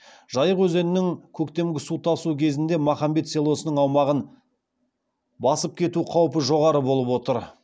жайық өзенінің көктемгі су тасу кезінде махамбет селосының аумағын басып кету қаупі жоғары болып отыр